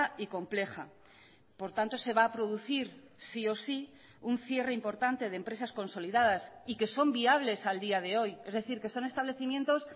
y compleja por tanto se va a producir sí o sí un cierre importante de empresas consolidadas y que son viables al día de hoy es decir que son establecimientos